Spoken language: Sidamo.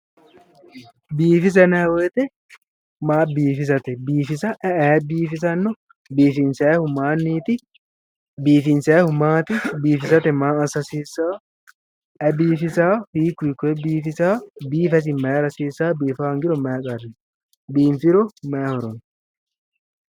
Biifisa yinayi woyite maa biifisate biifisa ayi aye biifisanno? Biifinisayihu mayiniiti? Biifinisayihu maat? Biifisate maa assa gasiisawo? Ayi biifisawo hiikku hiikkoye biifisawo? Biifa isi mayira hasiisawo biifa honifiro mayi qarri no? Biinifiro mayi horo no?